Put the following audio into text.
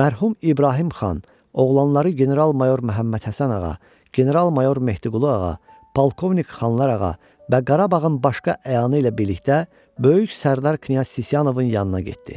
mərhum İbrahim Xan, oğlanları general-mayor Məmmədhəsən ağa, general-mayor Mehdiqu lu ağa, polkovnik Xanlar ağa və Qarabağın başqa əyanı ilə birlikdə böyük sərdar Knyaz Sisyanovun yanına getdi.